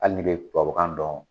Hali ni bɛ tubabukan dɔn.